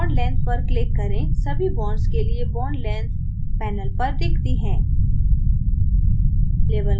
bond length पर click करें सभी bonds के लिए bond lengths panel पर दिखती हैं